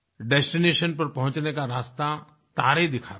destination पर पहुँचने का रास्ता तारे दिखाते हैं